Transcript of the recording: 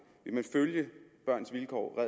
vil man følge børns vilkårs og